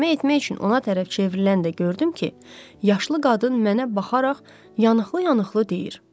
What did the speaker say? Kömək etmək üçün ona tərəf çevriləndə gördüm ki, yaşlı qadın mənə baxaraq yanıqlı-yanıqlı deyir.